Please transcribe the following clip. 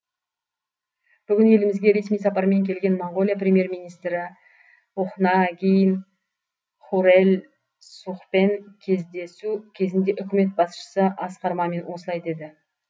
бүгін елімізге ресми сапармен келген моңғолия премьер министрі ухнаагийн хурэлсухпен кездесу кезінде үкімет басшысы асқар мамин осылай деді